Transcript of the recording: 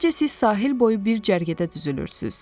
Əvvəlcə siz sahil boyu bir cərgədə düzülürsüz.